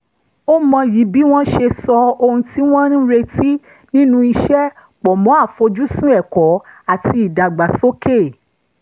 ó mọyì bí wọ́n ṣe so ohun tí wọ́n ń retí nínú iṣẹ́ pọ̀ mọ́ àfoj́sùn ẹ̀kọ́ àti ìdàgbàsókè